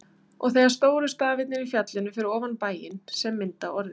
Og þegar stóru stafirnir í fjallinu fyrir ofan bæinn, sem mynda orðið